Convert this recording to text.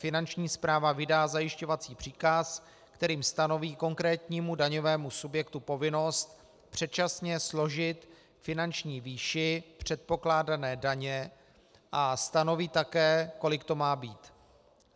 Finanční správa vydá zajišťovací příkaz, kterým stanoví konkrétnímu daňovému subjektu povinnost předčasně složit finanční výši předpokládané daně a stanoví také, kolik to má být.